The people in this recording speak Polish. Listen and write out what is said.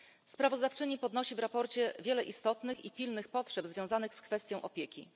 Sprawozdawczyni podnosi w sprawozdaniu wiele istotnych i pilnych potrzeb związanych z kwestią opieki.